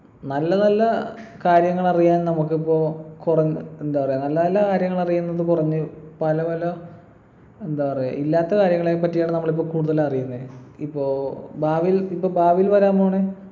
നല്ല നല്ല കാര്യങ്ങളറിയാൻ നമുക്കിപ്പൊ കുറൻ എന്താ പറയാ നല്ല കാര്യങ്ങൾ അറിയുന്നത് കുറഞ്ഞ് പല പല എന്താ പറയാ ഇല്ലാത്ത കാര്യങ്ങളെപ്പറ്റിയാണ് നമ്മളിപ്പൊ കൂടുതൽ അറിയുന്നേ ഇപ്പൊ ഭാവിയിൽ ഇപ്പൊ ഭാവിയിൽ വരാൻ പോണെ